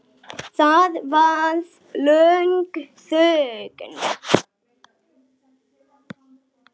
Það varð löng þögn.